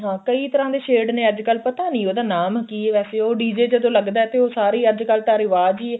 ਹਾਂ ਕਈ ਤਰ੍ਹਾ ਦੇ shade ਨੇ ਅੱਜਕਲ ਪਤਾ ਨਹੀਂ ਉਹਦਾ ਨਾਮ ਕੀ ਏ ਵੈਸੇ ਤੇ ਉਹ DJ ਜਦੋਂ ਲੱਗਦਾ ਤਾਂ ਉਹ ਸਾਰੀ ਅੱਜਕਲ ਤਾਂ ਰਿਵਾਜ ਈ ਏ